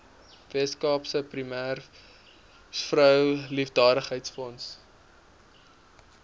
weskaapse premiersvrou liefdadigheidsfonds